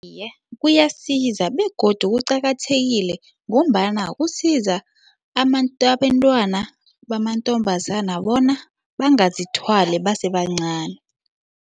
Iye, kuyasiza begodu kuqakathekile ngombana kusiza abentwana bamantombazana bona bangazithwali basebancani.